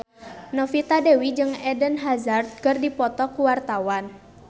Novita Dewi jeung Eden Hazard keur dipoto ku wartawan